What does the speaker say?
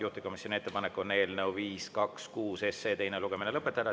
Juhtivkomisjoni ettepanek on eelnõu 526 teine lugemine lõpetada.